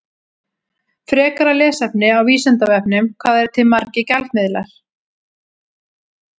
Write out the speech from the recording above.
Frekara lesefni á Vísindavefnum: Hvað eru til margir gjaldmiðlar?